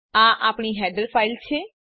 આ આપણી header file છે